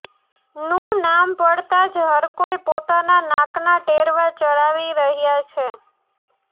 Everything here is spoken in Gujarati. નુ નામ પડતા જ હરકોઈ પોતાના નાકના ટેરવા ચઢાવી રહ્યા છે